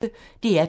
DR P1